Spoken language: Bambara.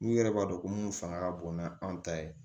N'u yɛrɛ b'a dɔn ko mun fanga ka bon n'an ta ye